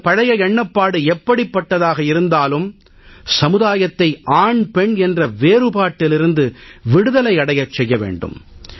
நமது பழைய எண்ணப்பாடு எப்படிப்பட்டதாக இருந்தாலும் சமுதாயத்தை ஆண்பெண் என்ற வேறுபாட்டிலிருந்து விடுதலை அடையச் செய்ய வேண்டும்